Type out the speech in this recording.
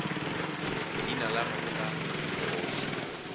leina la gagwe la bogoši